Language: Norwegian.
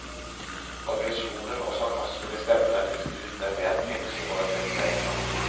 Aggresjonen og sarkasmen i stemmen er byttet ut med en mer tenksom og reflektert klang.